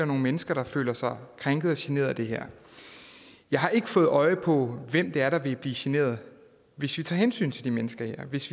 nogle mennesker der føler sig krænket og generet af det her jeg har ikke fået øje på hvem det er der vil blive generet hvis vi tager hensyn til de mennesker her hvis